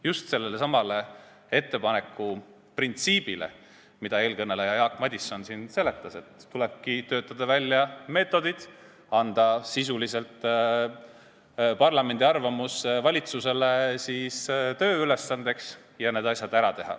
Just sellelesamale ettepaneku printsiibile, mida eelkõneleja Jaak Madison siin selgitas, et tulebki töötada välja meetodid, anda parlamendi arvamus valitsusele sisuliselt tööülesandeks ja teha need asjad ära.